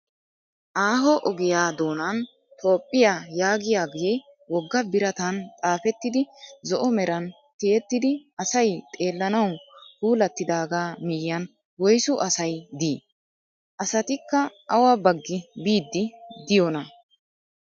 Aaho ogiyaa doonan Toophphiya yagiyaage wogga biratan xaafettidi zo"o meran ti"ettidi asay xeellanawu pulattidaaga miyyiyan woyisu asayi dii? Asatikka awa baggi biiddi diyoonaa?